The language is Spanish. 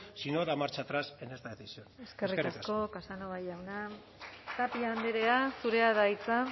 si no da marcha atrás en esta decisión eskerrik asko eskerrik asko casanova jauna tapia andrea zurea da hitza